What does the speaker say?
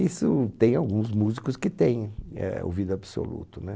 Isso tem alguns músicos que têm, eh, ouvido absoluto, né?